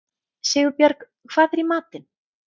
Sigurbjörg, hvað er í matinn?